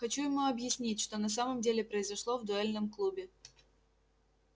хочу ему объяснить что на самом деле произошло в дуэльном клубе